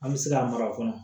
An bɛ se ka mara fana